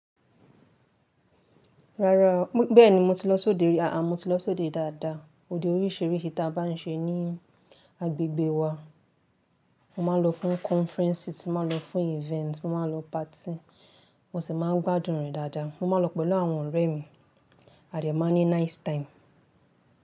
Rárá, bẹ́ẹ̀ni mo ti lọ́ sóde rí. Àá mó ti lọ́ sóde dáadáa. Óde oríṣìíríṣìí tí a bá n ṣe ní agbègbè wa. Mo máa n lọ fún conferences, mó ma lọ fún events, mó ma lọ party. Mo sì máa ń gbádùn rẹ̀ dáadáa. Mo máa ń lọ pẹ̀lú àwọn ọ̀rẹ̀ mi àde má ní nice time.